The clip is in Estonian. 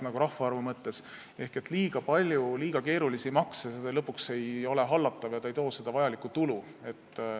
Kui on liiga palju liiga keerulisi makse, siis see lõpuks ei ole hallatav ega too vajalikku tulu.